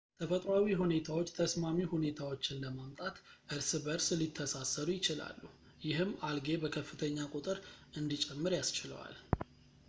ተፈጥሯዊ ሁኔታዎች ተስማሚ ሁኔታዎችን ለማምጣት እርስ በእርስ ሊተሳሰሩ ይችላሉ ፣ ይህም አልጌ በከፍተኛ ቁጥር እንዲጨምር ያስችለዋል